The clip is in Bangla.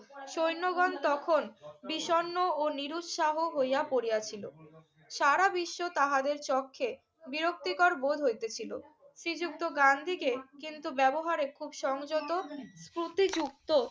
সৈন্যগণ তখন বিষন্ন ও নিরুৎসাহ হইয়া পড়িয়াছিল। সারা বিশ্ব তাহাদের চক্ষে বিরক্তিকর বোধ হইতেছিল। শ্রীযুক্ত গান্ধীকে কিন্তু ব্যবহারে খুব সংযত স্ফূর্তিযুক্ত